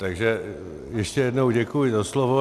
Takže ještě jednou děkuji za slovo.